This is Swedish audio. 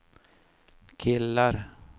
killar